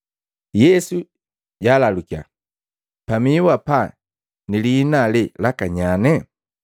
Yesu jalalukiya, “Pamihu apa na lihina alee laka nyanye?”